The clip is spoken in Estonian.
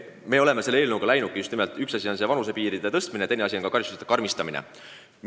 Eelnõu eesmärk on just nimelt esiteks vanusepiiride tõstmine, teiseks aga karistuste karmistamine.